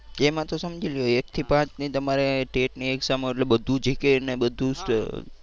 એમાં તો સમજી લયો એક થી પાંચની તમારે tet ની exam હોય એટલે બધુ GK ને બધુ